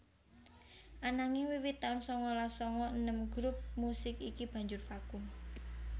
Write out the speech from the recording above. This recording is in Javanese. Ananging wiwit taun sangalas sanga enem grup musik iki banjur vakum